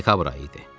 Dekabr ayı idi.